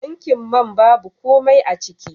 Tankin mai babu komai aciki.